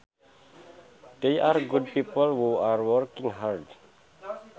They are good people who are working hard